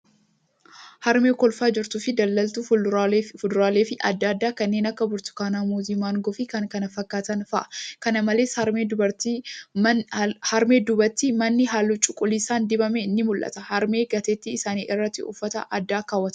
Harmee kolfaa jirtufi daldaltuu fuduraalee adda addaa kanneen akka Burtukaanaa, Muuzii, Maangoo fi kan kana fakkatan fa'a. Kana malee, harmee duubtti manni halluu cuuquliisaan dibame ni mul'ata. Harmeen gateettii isaani irratti uffata addaa keewwataniiru.